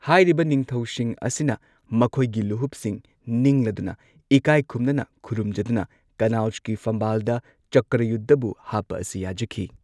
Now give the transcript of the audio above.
ꯍꯥꯏꯔꯤꯕ ꯅꯤꯡꯊꯧꯁꯤꯡ ꯑꯁꯤꯅ ꯃꯈꯣꯏꯒꯤ ꯂꯨꯍꯨꯞꯁꯤꯡ ꯅꯤꯡꯂꯗꯨꯅ ꯏꯀꯥꯏ ꯈꯨꯝꯅꯅ ꯈꯨꯔꯨꯝꯖꯗꯨꯅ ꯀꯟꯅꯧꯖꯀꯤ ꯐꯝꯕꯥꯜꯗ ꯆꯀ꯭ꯔꯌꯨꯙꯕꯨ ꯍꯥꯞꯄ ꯑꯁꯤ ꯌꯥꯖꯈꯤ꯫